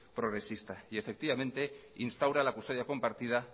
progresista y efectivamente instaura la custodia compartida